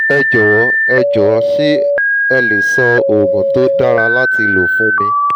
ẹ jọ̀wọ́ ẹ jọ̀wọ́ ṣé ẹ le sọ oògùn tó dára láti lò fún mi